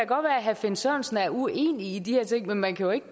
herre finn sørensen er uenig i de her ting men man kan jo ikke